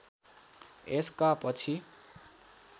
यसका पछि